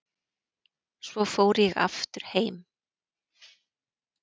Svo fór ég aftur heim.